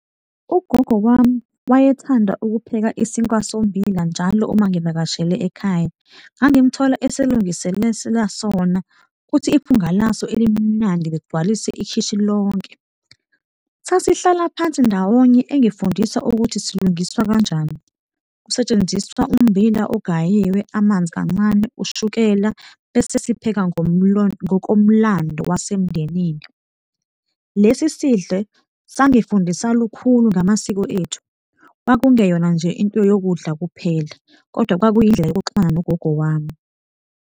Ugogo wami wayethanda ukupheka isinkwa sommbila njalo uma ngivakashele ekhaya. Ngangimthola esilungisela sona ukuthi iphunga laso elimnandi ligcwalise ikhishi lonke. Sasihlala phansi ndawonye engifundisa ukuthi silungiswa kanjani, kusetshenziswa ummbila ogayiwe, amanzi kancane, ushukela, bese siphekwa ngokomlando wasemndenini. Lesi sidle sangifundisa lukhulu ngamasiko ethu. Kwakungeyona nje into yokudla kuphela kodwa kwakuyindlela yokuxhumana nogogo wami.